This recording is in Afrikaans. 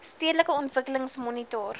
stedelike ontwikkeling monitor